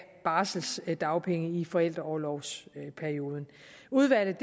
barselsdagpenge i forældreorlovsperioden udvalget